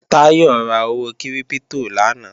Táyọ̀ ra owó kírípítò lánàá